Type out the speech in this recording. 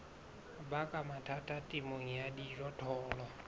baka mathata temong ya dijothollo